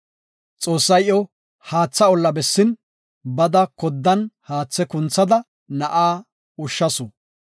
Xoossay iyo haatha olla bessin, bada koddan haathe kunthada na7aa ushshasu.